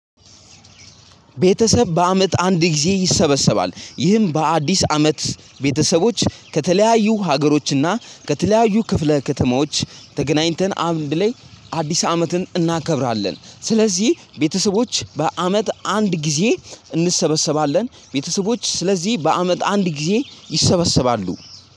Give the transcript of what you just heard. ቤተሰብ በአመት አንድ ጊዜ ይሰበሰባል። ይህም በአዲስ አመት ቤተሰቦች ከተለያዩ ሀገሮችና ከተለያዩ ክፍለ ከተማዎች ተገናኝተን አንድ ላይ አዲስ አመትን እናከብራለን ስለዚህ ቤተሰቦች በአመት አንድ ጊዜ እንሰበሰባለን ቤተሰቦች ስለዚህ በአመት አንድ ጊዜ ይሰበሰባሉ።